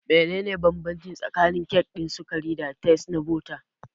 Menene bambanci tsakanin kek ɗin sukari da tart na bota?